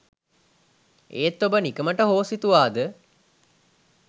ඒත් ඔබ නිකමට හෝ සිතුවාද